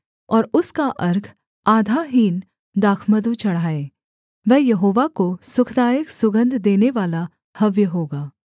और उसका अर्घ आधा हीन दाखमधु चढ़ाए वह यहोवा को सुखदायक सुगन्ध देनेवाला हव्य होगा